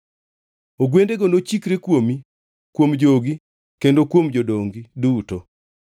Ogwendego nochikre kuomi, kuom jogi kendo kuom jodongi duto.”